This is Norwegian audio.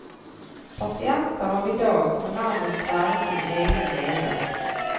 Pasienter av i dag må nærmest være sine egne leger.